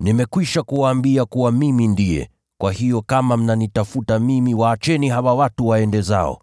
“Nimekwisha kuwaambia kuwa, mimi ndiye; kwa hiyo kama mnanitafuta mimi, waacheni hawa watu waende zao.”